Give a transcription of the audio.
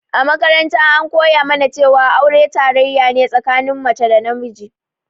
A makaranta an koya mana cewa aure tarayya ne tsakanin mace da namiji